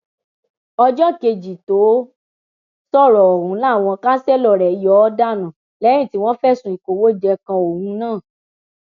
ọjọ kejì tó sọrọ ọhún làwọn kanṣẹlò rẹ yọ ọ dànù lẹyìn tí wọn fẹsùn ìkówójẹ kan òun náà